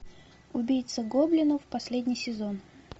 убийца гоблинов последний сезон